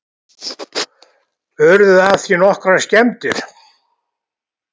Urðu af því nokkrar skemmdir